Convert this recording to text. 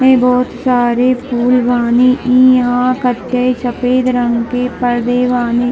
ई बहुत सारी फूल बानी ई यहाँ कतई सफ़ेद रंग के परदे बानी।